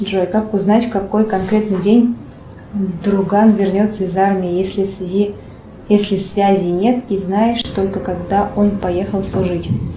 джой как узнать в какой конкретный день друган вернется из армии если связи нет и знаешь только когда он поехал служить